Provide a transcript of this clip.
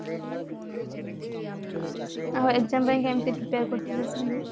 ଆଉ exam ପାଇଁ କେମିତି prepare କରୁଥିଲେ ସେମାନେ